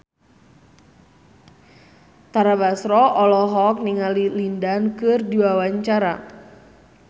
Tara Basro olohok ningali Lin Dan keur diwawancara